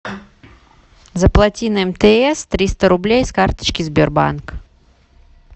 заплати на мтс триста рублей с карточки сбербанк